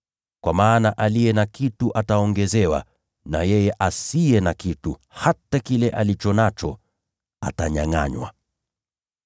Kwa maana kila mtu aliye na kitu atapewa zaidi, naye atakuwa navyo tele. Lakini yule asiye na kitu, hata kile alicho nacho atanyangʼanywa.”